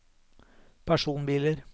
personbiler